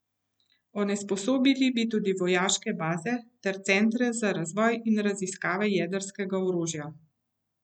Onesposobili bi tudi vojaške baze ter centre za razvoj in raziskave jedrskega orožja.